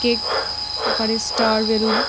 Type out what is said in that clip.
Cake আকারে star balloon.